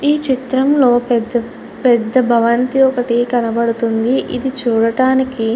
ఈ చిత్రంలో పెద్ద పెద్ద భవంతి ఒకటి కనబడుతుంది. ఇది చూడటానికి --